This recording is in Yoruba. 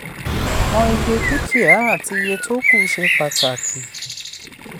mọ iye dúkìá àti iye tó kù ṣe pàtàkì.